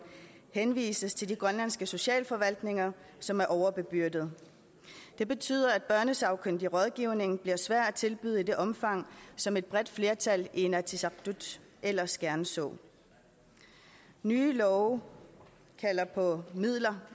henvises til de grønlandske socialforvaltninger som er overbebyrdede det betyder at børnesagkyndig rådgivning bliver svært at tilbyde i det omfang som et bredt flertal i inatsisartut ellers gerne så nye love kalder på midler